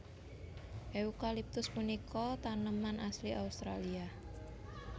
Eukaliptus punika taneman asli Australia